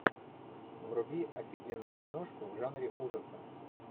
вруби офигенную киношку в жанре ужаса